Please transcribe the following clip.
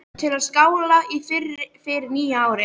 Til að skála í fyrir nýju ári.